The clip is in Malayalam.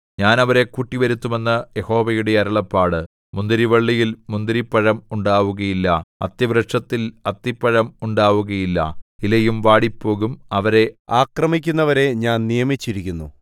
ഞാൻ അവരെ കൂട്ടിവരുത്തും എന്ന് യഹോവയുടെ അരുളപ്പാട് മുന്തിരിവള്ളിയിൽ മുന്തിരിപ്പഴം ഉണ്ടാവുകയില്ല അത്തിവൃക്ഷത്തിൽ അത്തിപ്പഴം ഉണ്ടാവുകയില്ല ഇലയും വാടിപ്പോകും അവരെ ആക്രമിക്കുന്നവരെ ഞാൻ നിയമിച്ചിരിക്കുന്നു